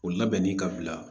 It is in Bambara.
O labɛnni ka bila